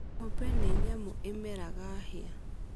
Ng'ombe ni nyamũ ĩmeraga hĩa.